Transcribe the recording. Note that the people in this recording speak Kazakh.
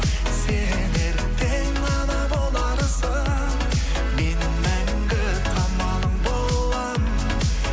сен ертең ана боларсың мен мәңгі қамалың боламын